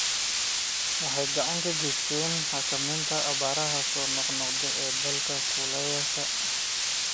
Waxay gacan ka geysataa xakamaynta abaaraha soo noqnoqda ee dalalka kulaalayaasha ah.